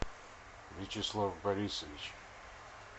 вячеслав борисович